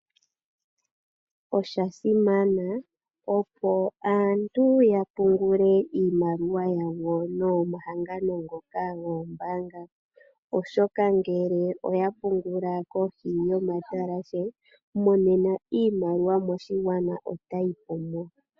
Osha simana opo aantu ya pungule iimaliwa yawo nomahangano ngoka goombanga oshoka ngele oya pungula kohi yomatalashe monena iimaliwa moshigwana ota yi pumo.